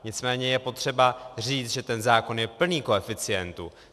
Nicméně je potřeba říct, že ten zákon je plný koeficientů.